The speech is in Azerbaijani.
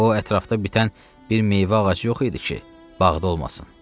O, ətrafda bitən bir meyvə ağacı yox idi ki, bağda olmasın.